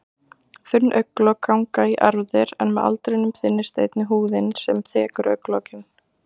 Þunn augnlok ganga í erfðir en með aldrinum þynnist einnig húðin sem þekur augnlokin.